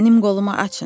Mənim qolumu açın.